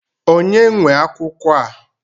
Ònye nwe akwụkwọ a?